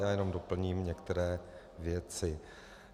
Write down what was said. Já jenom doplním některé věci.